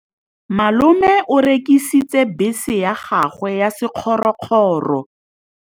Malome o rekisitse bese ya gagwe ya sekgorokgoro.